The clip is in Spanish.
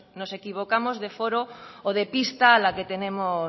nos equivocamos de foro o de pista a la que tenemos